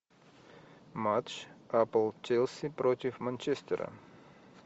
матч апл челси против манчестера